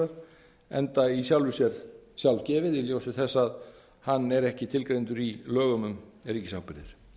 ríkisábyrgðar enda í sjálfu sér sjálfgefið í ljósi þess að hann er ekki tilgreindur í lögum um ríkisábyrgðir